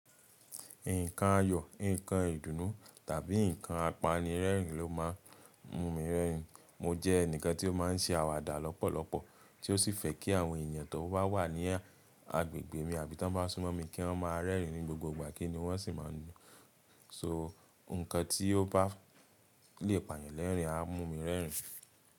Nǹkan ayọ̀, nǹkan ìdùnnú tàbí nǹkan apanirẹ́rìn ló má a mú mi rẹ́rìn. Mo jẹ́ ẹnìkan tí ó má a ń se àwàdà lọ́pọ̀lọpọ̀, tí ó sì fẹ́ kí àwọn èèyàn tí wọ́n bá wà ní agbègbè mi àbí tá bá súnmọ́ mi kí wọ́n má a rẹ́rìn ní gbogbo ìgbà kí ni wọ́n sì má a ń nu. So, ǹkan tí ó bá lè pàyànlérìn á mú mi rẹ́rìn.